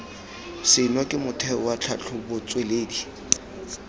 seno ke motheo wa tlhatlhobotsweledi